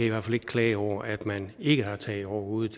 i hvert fald ikke klage over at man ikke har tag over hovedet